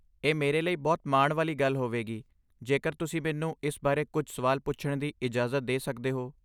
ਇਹ ਮੇਰੇ ਲਈ ਬਹੁਤ ਮਾਣ ਵਾਲੀ ਗੱਲ ਹੋਵੇਗੀ ਜੇਕਰ ਤੁਸੀਂ ਮੈਨੂੰ ਇਸ ਬਾਰੇ ਕੁਝ ਸਵਾਲ ਪੁੱਛਣ ਦੀ ਇਜਾਜ਼ਤ ਦੇ ਸਕਦੇ ਹੋ।